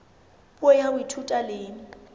puo ya ho ithuta le